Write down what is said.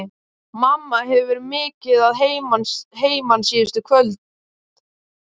Mamma hefur verið mikið að heiman síðustu kvöld.